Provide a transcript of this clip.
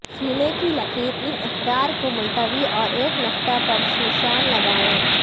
سینے کی لکیر ان اقدار کو ملتوی اور ایک نقطہ پر نشان لگائیں